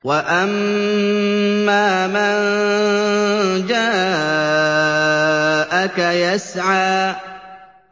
وَأَمَّا مَن جَاءَكَ يَسْعَىٰ